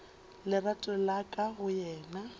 lerato la ka go yena